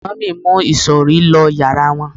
mummy mu isori lo yara wón